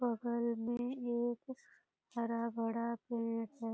बगल में एक हरा-भरा पेड़ है।